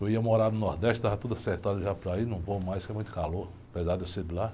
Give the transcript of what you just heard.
Eu ia morar no Nordeste, estava tudo acertado já para ir, não vou mais porque é muito calor, apesar de eu ser de lá.